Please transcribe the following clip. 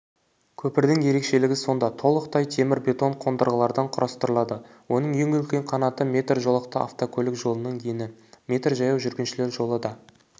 көпірдің ерекшелігі сонда толықтай темір-бетон қондырғылардан құрастырылады оның ең үлкен қанаты метр жолақты автокөлік жолының ені метр жаяу жүргіншілер жолы да